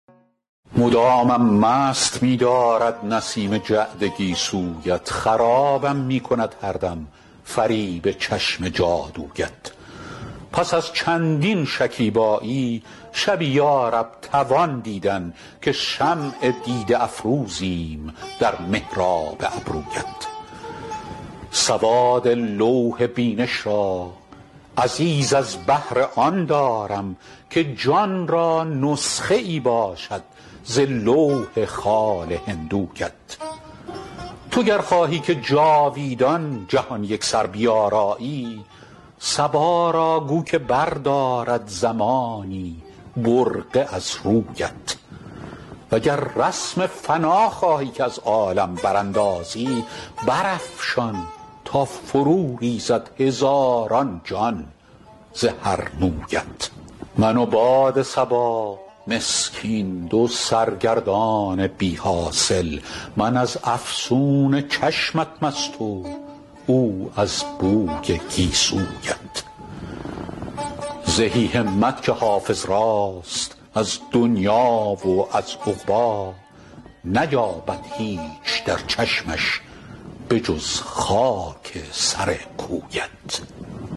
مدامم مست می دارد نسیم جعد گیسویت خرابم می کند هر دم فریب چشم جادویت پس از چندین شکیبایی شبی یا رب توان دیدن که شمع دیده افروزیم در محراب ابرویت سواد لوح بینش را عزیز از بهر آن دارم که جان را نسخه ای باشد ز لوح خال هندویت تو گر خواهی که جاویدان جهان یکسر بیارایی صبا را گو که بردارد زمانی برقع از رویت و گر رسم فنا خواهی که از عالم براندازی برافشان تا فروریزد هزاران جان ز هر مویت من و باد صبا مسکین دو سرگردان بی حاصل من از افسون چشمت مست و او از بوی گیسویت زهی همت که حافظ راست از دنیی و از عقبی نیاید هیچ در چشمش به جز خاک سر کویت